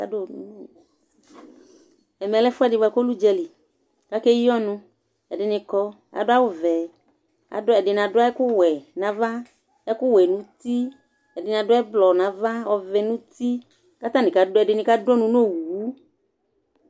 Ɛmɛ lɛ ɛfoɛdi boa ku lɛ udzali ka ke yi ɔnu ɛdini kɔ adu awu vɛ ɛdini adu ɛku wɛ na va ɛku wɛ nu uti ɛdini adu ɛblɔ na ava ɔvɛ nu uti ɛdini ka du ɔnu nu owu